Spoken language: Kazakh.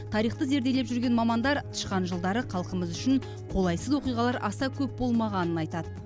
тарихты зерделеп жүрген мамандар тышқан жылдары халқымыз үшін қолайсыз оқиғалар аса көп болмағанын айтады